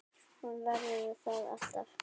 Hún verður það alltaf